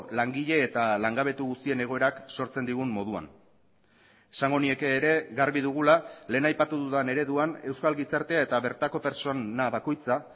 langile eta langabetu guztien egoerak sortzen digun moduan esango nieke ere garbi dugula lehen aipatu dudan ereduan euskal gizartea eta bertako pertsona bakoitza